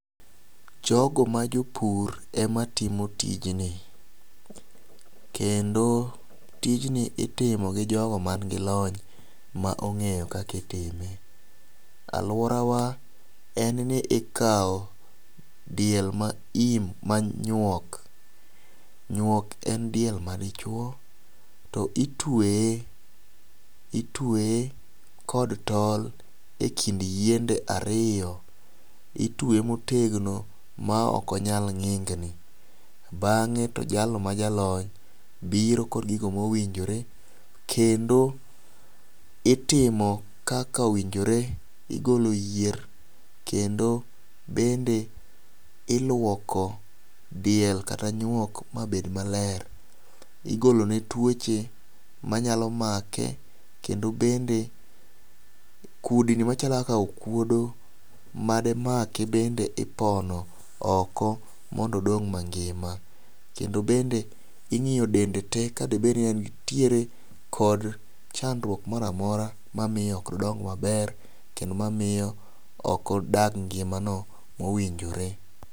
Jogo ma jopur ema timo tijni kendo tijni itimo gi jogo man gi lony ma ong'eyo kakitime . Aluorawa en ni ikawo diel ma im manyuok , nyuok en diel ma dichuo to itweye itweye kod tol ekind yiende ariyo , itweye motegno ma ok onyal n'gikni . Bang'e to jalno ma jalony biro gi gigo mowinjore kendo itimo kaka owinjore igolo yier kendo bende iluoko diel kata nyuok mabed maler. Igolo ne tuoche manyalo make kendo bende kudni machalo kaka okuodo made make. Bende ipono oko mondo odong' mangima kendo bende ing'iyo dende tee kadibed ni entiere gi chandruok moramora mamiyo ok odong maber kendo mamiyo ok odag ngimano mowinjore.